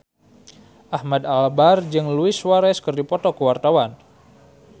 Ahmad Albar jeung Luis Suarez keur dipoto ku wartawan